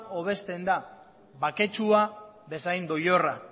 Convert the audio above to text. hobesten da baketsua bezain doilorra